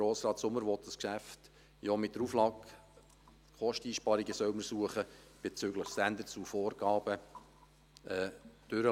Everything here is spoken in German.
Grossrat Sommer will dieses Geschäft ja mit der Auflage durchbringen, es seien Kosteneinsparungen bezüglich Standards und Vorgaben zu suchen.